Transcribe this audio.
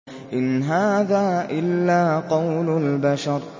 إِنْ هَٰذَا إِلَّا قَوْلُ الْبَشَرِ